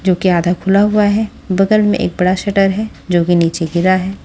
जो कि आधा खुला हुआ है बगल में एक बड़ा शटर है जो कि नीचे गिरा है।